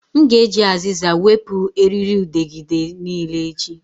M ga-eji azịza wepụ erịrịudegịde niile echi